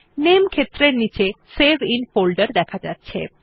নামে ক্ষেত্রের নীচে সেভ আইএন ফোল্ডের দেখা যাচ্ছে